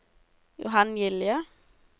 Johan Gilje